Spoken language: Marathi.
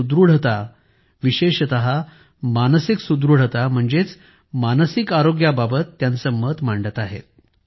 ते सुदृढता विशेषत मानसिक सुदृढता म्हणजेच मानसिक आरोग्याबाबत त्यांचे मत मांडतील